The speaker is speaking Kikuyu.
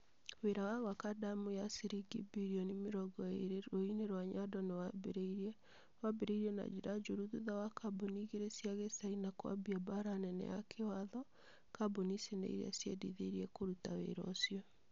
Wĩra wa gwaka ndemu ya ciringi birioni mĩrongo ĩre rũũĩ-inĩ rwa Nyando nĩ wambĩrĩirie. Wambĩrĩirie na njĩra njũru thutha wa kambuni igĩrĩ cia kĩ Chaina kwambia mbaara nene ya kĩwatho. Kambuni ici nĩ iria ciendithirie kũruta wĩra ũcio.